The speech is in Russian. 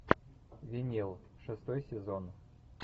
винил шестой сезон